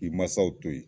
K'i masaw to ye